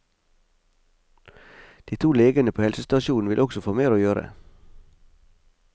De to legene på helsestasjonen vil også få mer å gjøre.